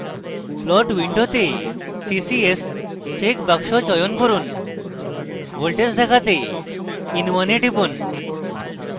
plot window ccs চেকবাক্স চয়ন করুন voltage দেখাতে in1 এ টিপুন